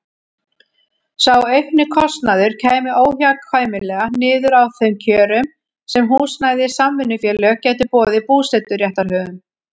Sá aukni kostnaður kæmi óhjákvæmilega niður á þeim kjörum sem húsnæðissamvinnufélög gætu boðið búseturéttarhöfum.